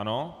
Ano.